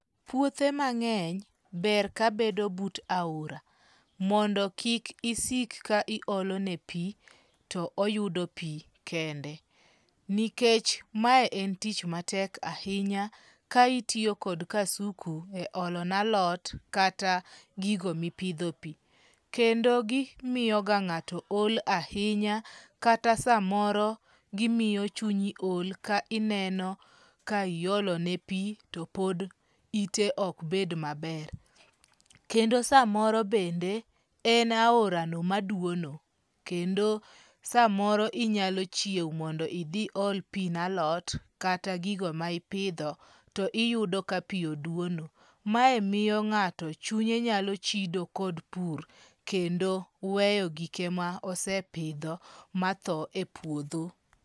Puothe mang'eny ber kabedo but aora, mondo kik isik ka iolone pi to oyudo pi kende. Nikech ma en tich matek ahinya ka itiyo kod kasuku e olonalot kata gigo mipidho pi. Kendo gimiyoga ng;ato ol ahinya kata samoro gimiyo chunyi ol ka ineno ka iolone pi to pod ite ok bed maber. Kendo samoro bende en aorano ma dwono. Kendo samoro inyalo chiewo mondo idhi ol pi nalot kata gigo ma ipidho to iyudo ka pi odwono. Mae miyo ng'ato chunye nyalo chido kod pur kendo weyo gike ma osepidho ma tho e puodho.